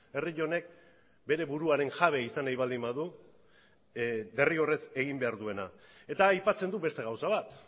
herri honek bere buruaren jabe izan nahi baldin badu derrigorrez egin behar duena eta aipatzen du beste gauza bat